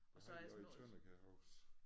Jeg har været i Tønder kan jeg huske